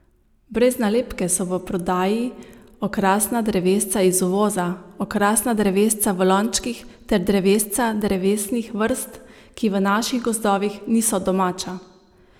Brez nalepke so v prodaji okrasna drevesca iz uvoza, okrasna drevesca v lončkih ter drevesca drevesnih vrst, ki v naših gozdovih niso domača.